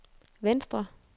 venstre